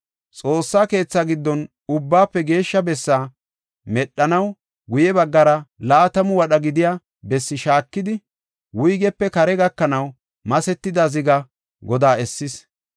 Xoossa keetha giddon Ubbaafe Geeshsha Bessaa medhanaw guye baggara laatamu wadha gidiya besse shaakidi, wuygepe kaara gakanaw masetida ziga godaa essis.